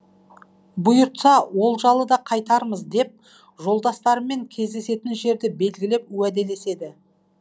бұйыртса олжалы да қайтармыз деп жолдастарымен кездесетін жерді белгілеп уәделеседі